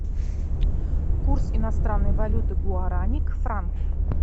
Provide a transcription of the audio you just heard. курс иностранной валюты гуарани к франку